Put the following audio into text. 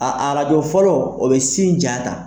A a arajo fɔlɔ o bɛ sin ja ta.